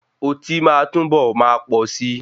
Oti máa túnbọ̀ máa pọ si.